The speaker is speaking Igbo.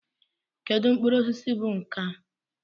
Kedu mkpụrụ osisi bụ nkà?